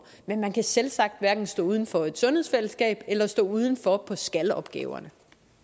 men man kan selvsagt hverken stå uden for et sundhedsfællesskab eller stå uden for skal opgaverne